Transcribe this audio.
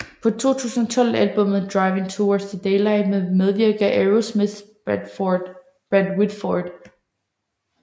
På 2012 albummet Driving Towards the Daylight medvirker Aerosmiths Brad Whitford